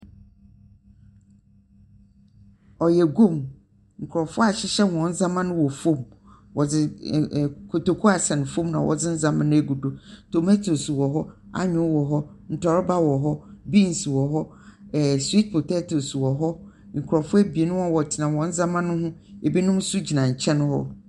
Ɔyɛ guam. Nkorɔfo ahyehyɛ hɔn ndzeɛma no wɔ fam. Wɔdze n ɛn kotoku asɛn fam na wɔdze ndzeɛma no agu do. Tomatoes wɔ hɔ, anyow wɔ hɔ, ntorɔba wɔ hɔ, beans wɔ hɔ, ɛɛ . Sweet potatoes wɔ hɔ. Nkurɔfo ebien, wɔn wɔtsena hɔn ndzeɛma no ho, ibi nso gyina nkyɛn hɔ.